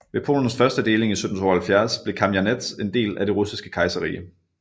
Ved Polens første deling i 1772 blev Kamjanets en del af Det Russiske Kejserrige